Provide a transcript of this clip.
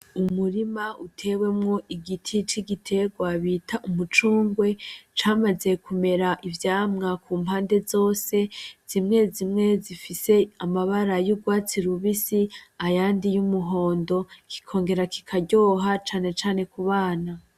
Umurima utewemwo igiti c'igiterwa bita Umucungwe camaze kumera ivyamwa kumpande zose, zimwe zimwe zifise amabara y'urwatsi rubisi ayandi y'umuhondo kikongera kikaryohera cane abana.